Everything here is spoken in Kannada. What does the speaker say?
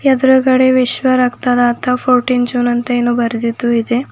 ಅದ್ರಗಡೆ ವಿಶ್ವ ರಕ್ತದಾತ ಫೋರ್ಟೀನ್ ಜೂನ್ ಅಂತ ಏನೋ ಬರ್ದಿದ್ದು ಇದೆ.